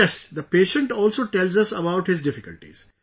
Yes, the patient also tells us about his difficulties